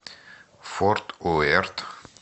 форт уэрт